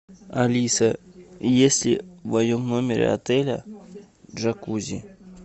алиса есть ли в моем номере отеля джакузи